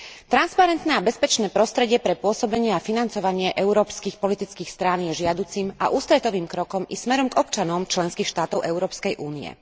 Transparentné a bezpečné prostredie pre pôsobenie a financovanie európskych politických strán je žiaducim a ústretovým krokom i smerom k občanom členských štátov Európskej únie.